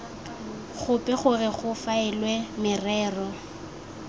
gope gore go faelwe merero